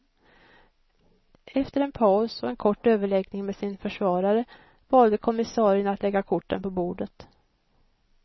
Efter en paus och en kort överläggning med sin försvarare valde kommissarien att lägga korten på bordet.